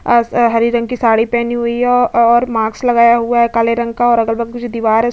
और ह हरी रंग की साड़ी पहनी हुई है और मास्क लगाया हुआ है काले रंग का और अगल बगल से दीवार है।